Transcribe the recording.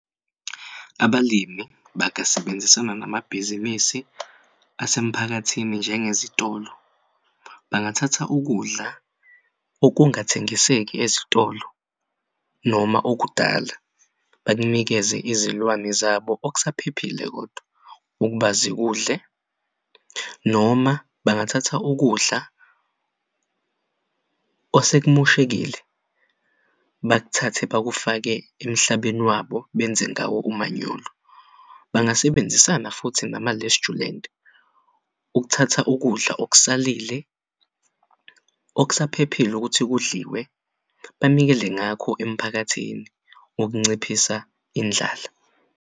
Abalimi bangasebenzisana namabhizinisi asemphakathini njenge zitolo, bangathatha ukudla okungathengiseki ezitolo noma okudala bakunikeze izilwane zabo okusaphephile kodwa ukuba zikudle noma bangathatha ukudla osekumoshekile bakuthathe bakufake emhlabeni wabo benze ngawo umanyolo. Bangasebenzisana futhi nama lestjulanti ukuthatha ukudla okusalile okusaphephile ukuthi kudliwe banikele ngakho emphakathini ukunciphisa indlala.